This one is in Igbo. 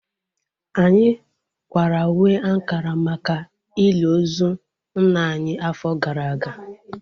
Anyị kwara uwe ankara maka ili ozu nna anyị afọ gara aga